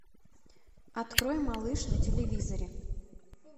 открой малыш на телевизоре